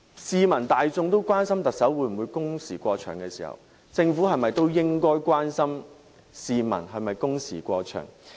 市民大眾會關心特首的工時會否過長，政府是否也應關心市民的工時會否過長？